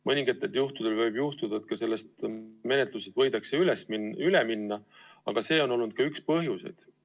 Mõningatel juhtudel võib juhtuda, et sellest menetlusest võidakse üle minna, aga see on olnud üks põhjuseid.